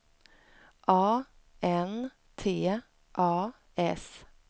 A N T A S